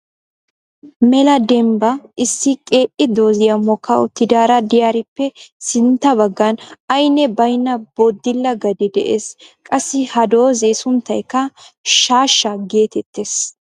Mela dembba issi qeeei dooziya mokka uttidaara de'iyaarippe sintta baggan aynne baynna boodila gadee de'ees. Qassi ha dooze sunttaykka shaashsha gettetees.